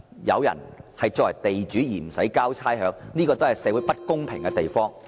有人作為地主卻不需要繳交差餉，也是導致社會不公平的原因。